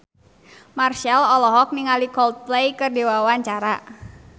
Marchell olohok ningali Coldplay keur diwawancara